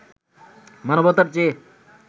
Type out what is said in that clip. মানবতার চেয়ে